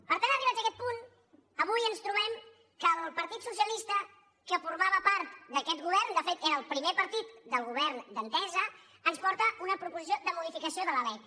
per tant arribats a aquest punt avui ens trobem que el partit socialista que formava part d’aquest govern de fet era el primer partit del govern d’entesa ens porta una proposició de modificació de la lec